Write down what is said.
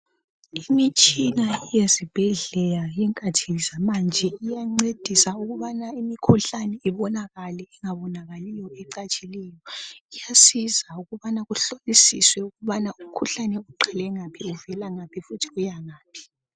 imitshina yezibhedlela yezikhathi zamanje iyancedisa ukubana imikhuhlane ibonakale engabonakaliyo ecatshileyo kuyasiza uubana kuhlolisiswe ukubana umkhuhlane uqale ngaphi uvela ngaphi njalo uyangaphi